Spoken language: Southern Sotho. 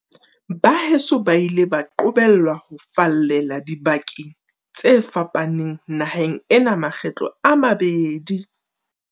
Baheso ba ile ba qobellwa ho fallela dibakeng tse fa paneng naheng ena makgetlo a mabedi.